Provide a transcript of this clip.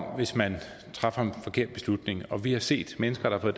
om hvis man træffer en forkert beslutning og vi har set mennesker der har